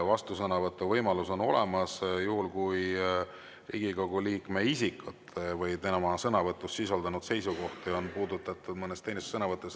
Vastusõnavõtu võimalus on olemas juhul, kui Riigikogu liikme isikut või tema sõnavõtus sisaldunud seisukohti on puudutatud mõnes teises sõnavõtus.